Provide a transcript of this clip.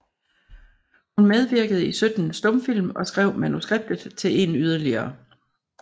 Hun medvirkede i 17 stumfilm og skrev manuskriptet til en yderligere